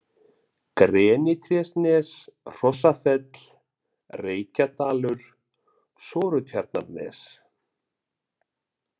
Grenitrésnes, Hrossafell, Reykjadalur, Sortutjarnarnes